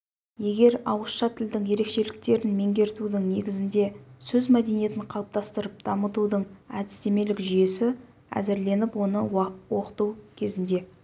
егер ауызша тілдің ерекшеліктерін меңгертудің негізінде сөз мәдениетін қалыптастырып дамытудың әдістемелік жүйесі әзірленіп оны оқыту кезінде